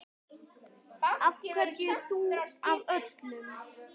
Af hverju þú af öllum?